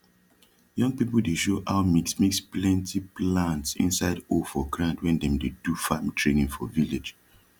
young people dey show how mix mix plenti plants inside hole for ground when dem dey do farm training for village